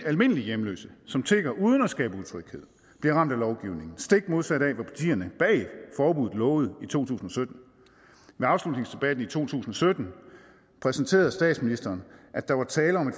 almindelige hjemløse som tigger uden at skabe utryghed bliver ramt af lovgivningen stik modsat af hvad partierne bag forbuddet lovede i to tusind og sytten med afslutningsdebatten i to tusind og sytten præsenterede statsministeren at der var tale om